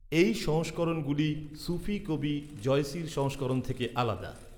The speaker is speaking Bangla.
এই সংস্করণগুলি সুফি কবি জয়সীর সংস্করণ থেকে আলাদা।